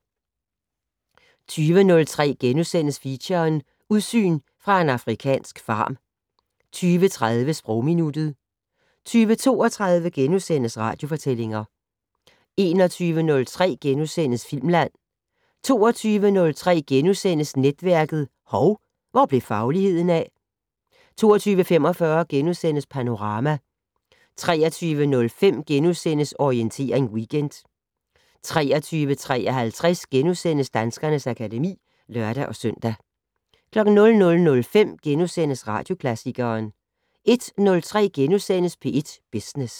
20:03: Feature: Udsyn fra en afrikansk farm * 20:30: Sprogminuttet 20:32: Radiofortællinger * 21:03: Filmland * 22:03: Netværket: Hov, hvor blev fagligheden af? * 22:45: Panorama * 23:05: Orientering Weekend * 23:53: Danskernes akademi *(lør-søn) 00:05: Radioklassikeren * 01:03: P1 Business *